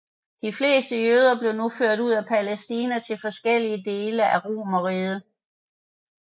De fleste jøder blev nu ført ud af Palæstina til forskellige dele af Romerriget